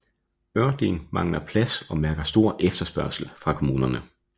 Ørting mangler plads og mærker stor efterspørgsel fra kommunerne